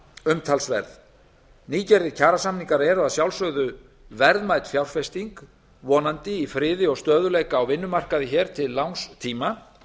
umtalsverð nýgerðir kjarasamningar eru að sjálfsögðu verðmæt fjárfesting vonandi í friði og stöðugleika á vinnumarkaði hér til langs tíma